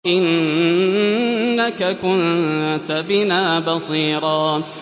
إِنَّكَ كُنتَ بِنَا بَصِيرًا